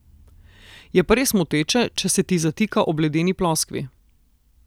Je pa res moteče, če se ti zatika ob ledeni ploskvi.